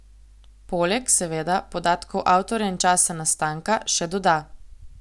Poleg, seveda, podatkov avtorja in časa nastanka, še doda.